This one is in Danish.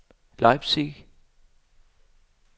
Leipzig